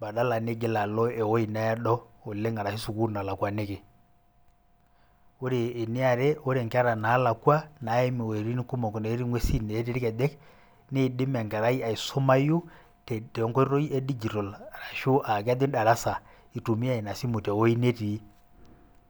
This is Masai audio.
badala niigil alo ewueji naado oleng ashu sukul nalakwaniki, ore eniare ore nkera nalakwa naimu wuejitin nalakwa natii ngwesi netii rkejek, niidim enkerai aisumai tenkoitoi e digital ashu aitumia inasimu tewue netii.